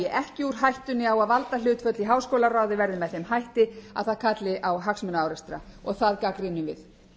hættunni á að valdahlutföll í háskólaráði verði með þeim hætti að það kalli á hagsmunaárekstra og það gagnrýnum við